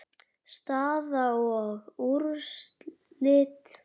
Staða og úrslit